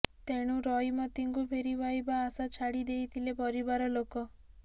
ତେଣୁ ରଇମତିଙ୍କୁ ଫେରି ପାଇବା ଆଶା ଛାଡି ଦେଈଥିଲେ ପରିବାର ଲୋକ